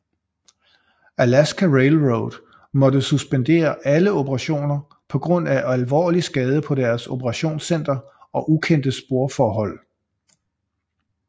Alaska Railroad måtte suspendere alle operationer på grund af alvorlig skade på deres operationscenter og ukendte sporforhold